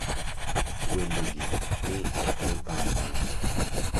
wendegi ni e albam mane?